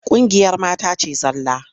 Ƙungiyar mata ce zalla.